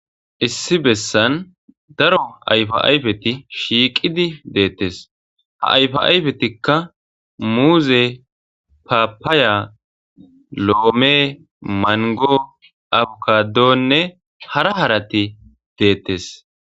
issi bessan daro ayfa ayfeti shiiqidi deettes ha ayfa ayfetikka muuze papaaya loome mango abukadoonne hara harati deettes